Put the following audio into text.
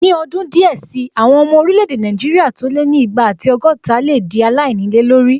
Ní ọdún díẹ̀ sí, àwọn ọmọ orílẹ̀-èdè Nàìjíríà tó lé ní igba ati ọgọ́ta lè dí aláìnílé lórí